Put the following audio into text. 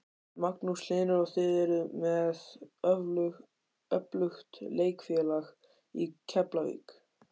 Magnús Hlynur: Og þið eruð með öflugt leikfélag í Keflavík?